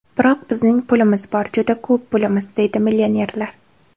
Biroq bizning pulimiz bor, juda ko‘p pulimiz”, deydi millionerlar.